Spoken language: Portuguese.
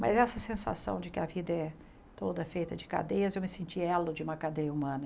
Mas essa sensação de que a vida é toda feita de cadeias, eu me senti elo de uma cadeia humana.